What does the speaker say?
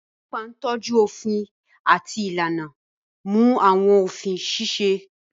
Ọlọ́pàá ń tọ́jú òfin àti ìlànà, ó ń mú àwọn òfin ṣiṣẹ́.